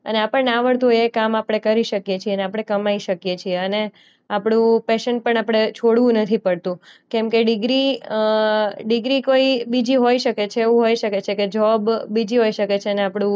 અને આપણને આવડતું હોય એ કામ આપણે કરી શકીએ છીએ અને આપણે કમાઈ શકીએ છીએ અને આપણું પૈશન પણ આપણે છોડવું નથી પડતું કેમકે ડિગ્રી અ ડીગ્રી કોઈ બીજી હોઈ શકે છે એવું હોય શકે છે કે જોબ બીજી હોઈ શકે છે એને આપણું